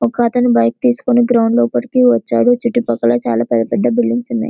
ఒకతను బైక్ తీస్కొని గ్రౌండ్ కి లోపలికి వచ్చాడు చుట్టూ పక్కన చాలా పెద్ద పెద్ద బిల్డింగ్స్ ఉన్నాయి .